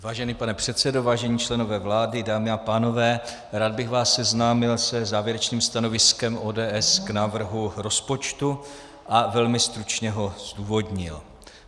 Vážený pane předsedo, vážení členové vlády, dámy a pánové, rád bych vás seznámil se závěrečným stanoviskem ODS k návrhu rozpočtu a velmi stručně ho zdůvodnil.